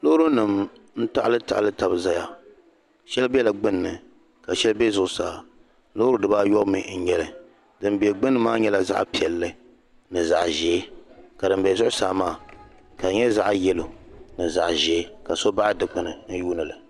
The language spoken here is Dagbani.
loorinima n-taɣilitaɣili tabi n-zaya shɛli bela gbunni ka shɛli be zuɣusaa loori dibaayɔbu mi n-nyɛ li din be gbunni maa nyɛla zaɣ' piɛlli ni zaɣ' ʒee ka din be zuɣusaa maa ka di nyɛ zaɣ' yɛlo ni zaɣ' ʒee ka so baɣi dikpuni n-yuuni li